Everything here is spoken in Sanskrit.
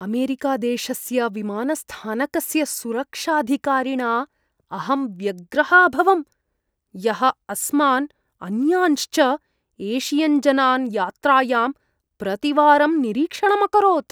अमेरिकादेशस्य विमानस्थानकस्य सुरक्षाधिकारिणा अहं व्यग्रः अभवम्, यः अस्मान्, अन्यांश्च एशियन्जनान् यात्रायां प्रतिवारं निरीक्षणम् अकरोत्।